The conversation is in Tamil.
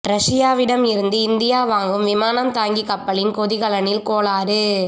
ரஷ்யாவிடம் இருந்து இந்தியா வாங்கும் விமானம் தாங்கி கப்பலின் கொதிகலனில் கோளாறு